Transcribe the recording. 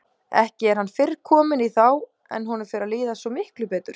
Ekki er hann fyrr kominn í þá en honum fer að líða svo miklu betur.